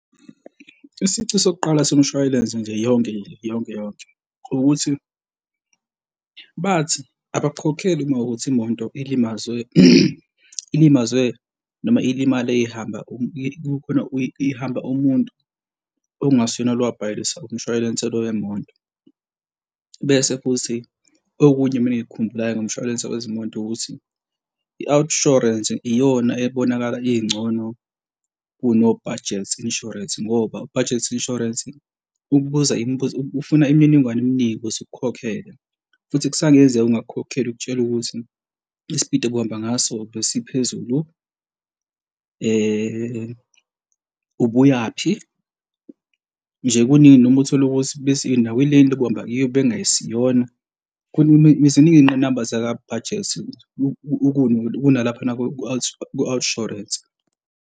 Isici sokuqala somshwalense nje yonke nje yonke, yonke ukuthi bathi abakukhokheli uma kuwukuthi imoto ilimazwe, ilimazwe noma ilimale ihamba kukhona ihamba umuntu okungasiyena lo owabhalisa umshwalense lo wemoto. Bese futhi okunye mina engikukhumbulayo ngomshwalense wezimoto ukuthi i-Outsurance iyona ebonakala ingcono kuno-Budget Insurance ngoba u-Budget Insurance ukubuza imibuzo ufuna imininingwane eminingi ukuze ikukhokhela futhi kusangenzeka ungakukhokheli ukutshele ukuthi isipidi obuhambe ngaso besiphezulu, ubuyaphi? Nje kuningi noma uthola ukuthi bese nawe i-lane obuhamba kuyo bekungesiyona ziningi iy'ngqinamba zaka-Budget ukunalaphana ka-Outsurance.